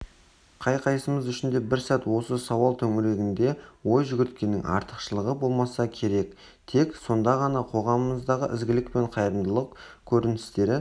қай-қайсымыз үшін де бір сәт осы сауал төңірегінде ой жүгірткеннің артықшылығы болмаса керек тек сонда ғана қоғамымыздағы ізгілік пен қайырымдылық көріністері